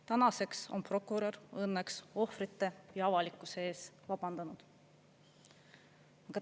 Tänaseks on prokurör õnneks ohvrite ja avalikkuse ees vabandanud.